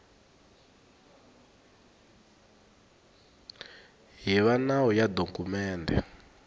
hi va nawu ya dokumende